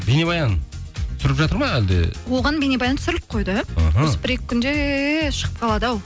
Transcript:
бейнебаян түсіріліп жатыр ма әлде оған бейнебаян түсіріліп қойды іхі осы бір екі күнде шығып қалады ау